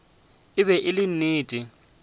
e be e le nnete